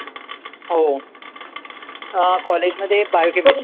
हो अं College मध्ये Biochemistry